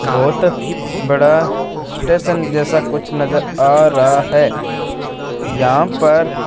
बहोत बड़ा स्टेशन जैसा कुछ नजर आ रहा है यहां पर--